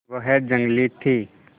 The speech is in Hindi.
वह जंगली थी